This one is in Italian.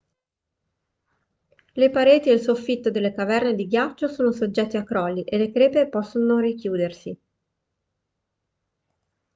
le pareti e il soffitto delle caverne di ghiaccio sono soggetti a crolli e le crepe possono richiudersi